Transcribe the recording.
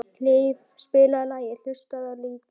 Hlíf, spilaðu lagið „Haustið á liti“.